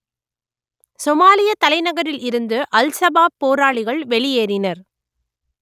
சொமாலியத் தலைநகரில் இருந்து al Shabaab போராளிகள் வெளியேறினர்